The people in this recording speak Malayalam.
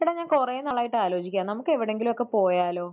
എടാ, ഞാൻ കുറെ നാളായിട്ട് ആലോചിക്കുകയാണ്. നമുക്ക് എവിടെയെങ്കിലുമൊക്കെ പോയാലോ?